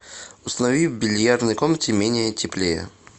установи в бильярдной комнате менее теплее